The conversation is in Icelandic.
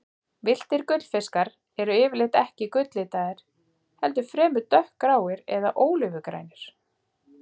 Villtir gullfiskar eru yfirleitt ekki gulllitaðir, heldur fremur dökkgráir eða ólífugrænir.